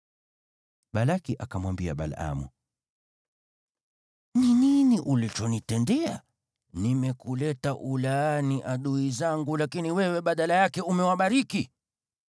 Balaki akamwambia Balaamu, “Ni nini ulichonitendea? Nimekuleta ulaani adui zangu, lakini wewe badala yake umewabariki!”